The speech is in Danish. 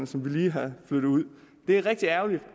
som vi lige har flyttet ud det er rigtig ærgerligt